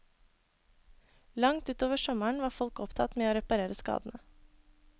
Langt utover sommeren var folk opptatt med å reparere skadene.